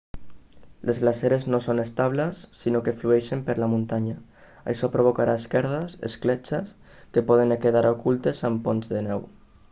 les glaceres no són estables sinó que flueixen per la muntanya això provocarà esquerdes escletxes que poden quedar ocultes amb ponts de neu